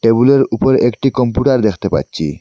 টেবিলের উপর একটি কম্পুটার দেখতে পাচ্চি।